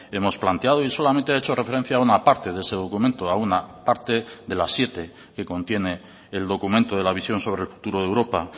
hemos planteado y solamente ha hecho referencia a una parte de ese documento a una parte de las siete que contiene el documento de la visión sobre el futuro de europa